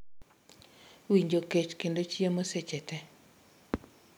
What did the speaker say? Winjo kech kendo chiemo seche tee.